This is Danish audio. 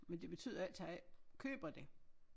Men det betyder ikke at jeg ikke køber det